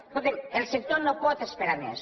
escolti’m el sector no pot esperar més